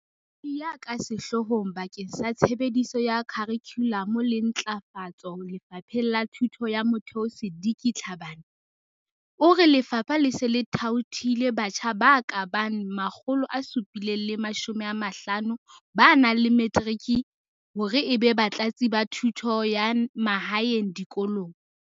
Molaodi ya ka Sehloohong bakeng sa Tshebediso ya Kharikhulamo le Ntlafa tso Lefapheng la Thuto ya Motheo Seliki Tlhabane, o re lefapha le se le thaothile batjha ba ka bang 750 ba nang le matric hore ebe Batlatsi ba Thuto ya Mahaeng dikolong.